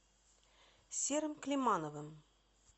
серым климановым